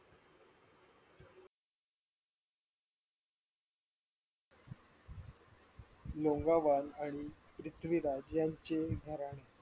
मोंगावाल पृथ्वी राज यांचे घराणे